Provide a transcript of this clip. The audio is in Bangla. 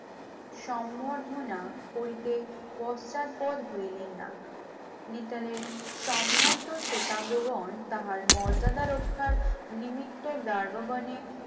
সম্বর্ধনা করিতে পশ্চাৎপর হইলেন না, মিতালের সম্ভ্রান্ত শ্বেতাঙ্গগণ তাহার মর্যাদা রক্ষার নিমিত্ত ডার্ভবনে